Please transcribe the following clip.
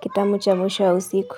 kitamu cha mwisho wa usiku.